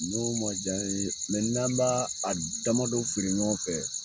N'o ma jan ye mɛ n'an b'a a damadɔ feere ɲɔgɔn fɛ